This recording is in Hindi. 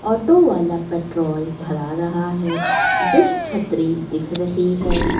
ऑटो वाला पेट्रोल भरा रहा है डिश छतरी दिख रही है।